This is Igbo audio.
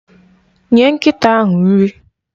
Nye nkịta ahụ nri!